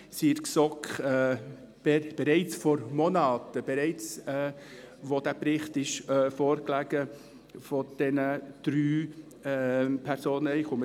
Sie waren in der GSoK bereits vor Monaten umstritten, schon bevor der Bericht dieser drei Personen vorlag.